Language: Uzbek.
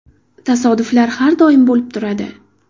Tasodiflar har doim bo‘lib turadi.